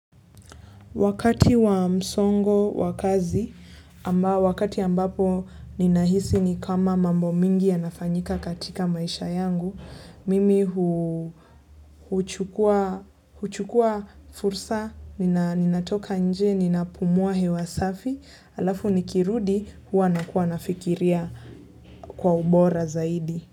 Wakati wa msongo wa kazi, wakati ambapo ninahisi ni kama mambo mingi yanafanyika katika maisha yangu, mimi huchukua fursa, ninatoka nje, ninapumua hewa safi, alafu nikirudi huwa nakuwa nafikiria kwa ubora zaidi.